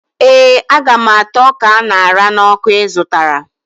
Ee, Aga m ata ọka a ṅara n'ọkụ ị zụtara